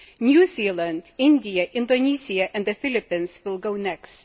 New Zealand, India, Indonesia and the Philippines will be next.